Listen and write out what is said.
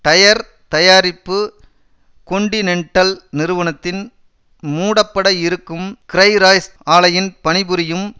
tyre தயாரிப்பு Continental நிறுவனத்தின் மூடப்பட இருக்கும் கிரய்ராய்ஸ்ன் பணிபுரியும்